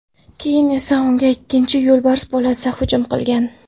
Keyin esa unga ikkinchi yo‘lbars bolasi hujum qilgan.